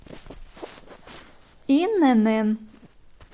инн